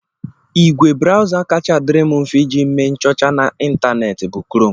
Igwe brawza kacha adịrị m mfe iji mee nchọcha n'Ịntanet bụ krom